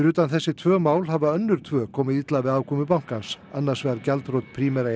utan þessi tvö mál hafa önnur tvö komið illa við afkomu bankans annars vegar gjaldþrot Primera